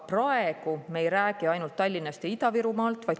Praegu me ei räägi ainult Tallinnast ja Ida-Virumaast.